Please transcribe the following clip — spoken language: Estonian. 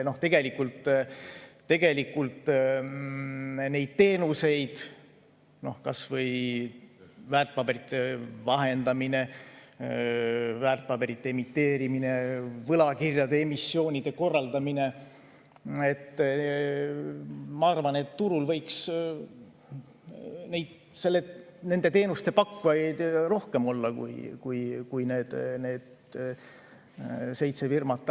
Nende teenuste pakkujaid, kas või väärtpaberite vahendamise, väärtpaberite emiteerimise, võlakirjade emissioonide korraldamise pakkujaid, ma arvan, võiks turul rohkem olla kui need seitse firmat.